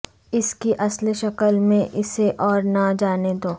اس کی اصل شکل میں اسے اور نہ جانے دو